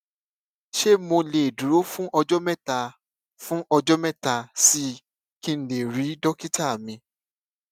ṣé mo lè dúró fún ọjó mẹta fún ọjó mẹta sí i kí n lè rí dókítà mi